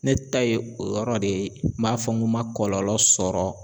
Ne ta ye o yɔrɔ de ye n b'a fɔ n ko n ma kɔlɔlɔ sɔrɔ